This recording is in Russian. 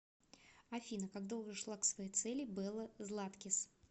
афина как долго шла к своей цели белла златкис